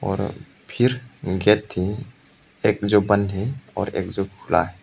और फिर गेट है एक जो बंद और एक जो खुला --